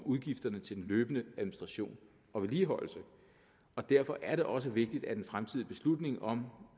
udgifterne til den løbende administration og vedligeholdelse derfor er det også vigtigt at en fremtidig beslutning om